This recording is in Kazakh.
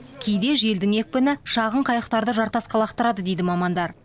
кейде желдің екпіні шағын қайықтарды жартасқа лақтырады дейді мамандар